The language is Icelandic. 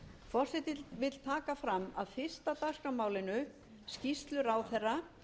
forseti vill taka fram að fyrsta dagskrármálinu skýrslu ráðherra